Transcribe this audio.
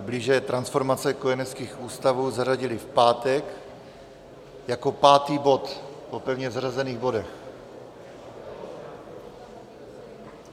blíže transformace kojeneckých ústavů, zařadili v pátek jako pátý bod po pevně zařazených bodech.